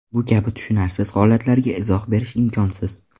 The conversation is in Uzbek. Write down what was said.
Bu kabi tushunarsiz holatlarga izoh berish imkonsiz.